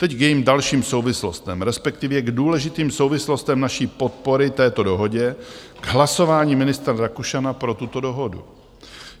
Teď k jejím dalším souvislostem, respektive k důležitým souvislostem naší podpory této dohodě, k hlasování ministra Rakušana pro tuto dohodu.